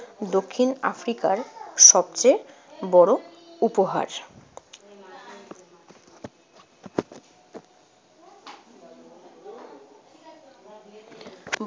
দক্ষিণ আফ্রিকার সবচেয়ে বড় উপহার।